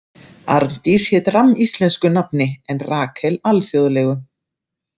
Arndís hét rammíslensku nafni en Rakel alþjóðlegu.